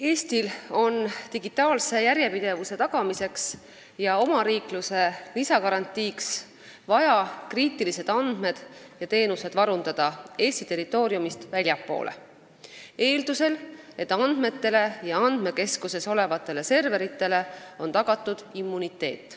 Eestil on digitaalse järjepidevuse tagamiseks ja omariikluse lisagarantiiks vaja kriitilised andmed ja teenused varundada Eesti territooriumist väljaspool, eeldusel, et andmetele ja andmekeskuses olevatele serveritele on tagatud immuniteet.